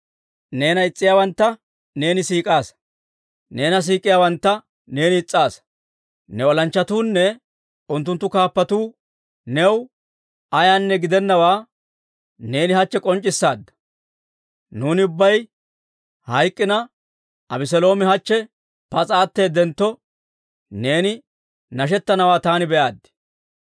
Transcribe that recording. Neena is's'iyaawantta neeni siik'aasa; neena siik'iyaawantta neeni is's'aasa. Ne olanchchatuunne unttunttu kaappatuu new ayaanne gidennawaa neeni hachche k'onc'c'issaadda. Nuuni ubbay hayk'k'ina, Abeseeloomi hachche pas'a atteedentto, neeni nashettanawaa taani be'aaddi.